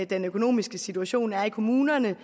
den økonomiske situation er i kommunerne